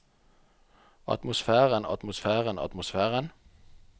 atmosfæren atmosfæren atmosfæren